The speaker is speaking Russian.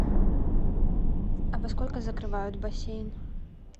а во сколько закрывают бассейн